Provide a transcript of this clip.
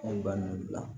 An ye ba ninnu bila